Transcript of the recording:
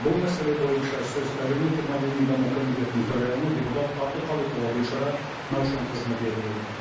бұл мәселе бойынша сөз әлеуметтік мәдени даму комитетінің төрайымы депутат әбдіқалықова гүлшара наушанқызына беріледі